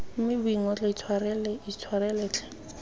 mme boingotlo intshwarele intshwarele tlhe